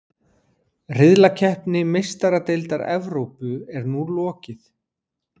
Riðlakeppni Meistaradeildar Evrópu er nú lokið.